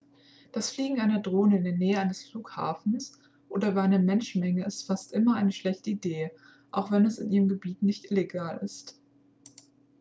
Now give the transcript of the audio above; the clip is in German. das fliegen einer drone in der nähe eines flughafens oder über einer menschenmenge ist fast immer eine schlechte idee auch wenn es in ihrem gebiet nicht illegal ist